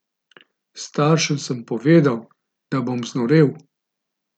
Staršem sem povedal, da bom znorel.